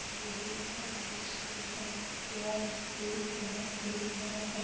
DAV. Public school है यह school बहुत ही बड़ा है।